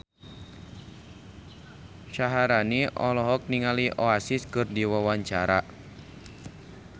Syaharani olohok ningali Oasis keur diwawancara